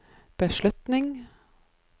beslutning